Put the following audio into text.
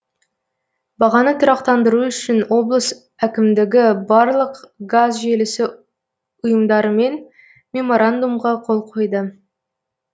бағаны тұрақтандыру үшін облыс әкімдігі барлық газ желісі ұйымдарымен меморандумға қол қойды